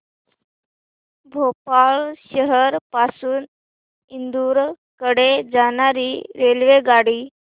भोपाळ शहर पासून इंदूर कडे जाणारी रेल्वेगाडी